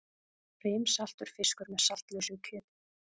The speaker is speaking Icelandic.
Brimsaltur fiskur með saltlausu kjöti.